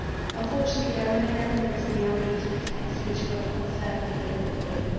Unfortunately, there remain elements in the IVD text which are of concern for the Liberal Group.